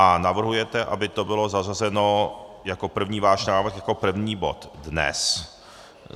A navrhujete, aby to bylo zařazeno jako první váš návrh jako první bod dnes.